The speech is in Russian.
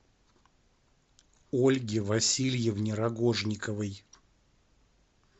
ольге васильевне рогожниковой